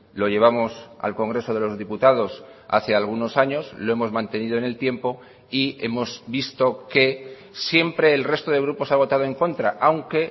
lo llevamos al congreso de los diputados hace algunos años lo hemos mantenido en el tiempo y hemos visto que siempre el resto de grupos ha votado en contra aunque